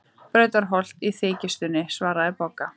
Brautarholt í þykjustunni, svaraði Bogga.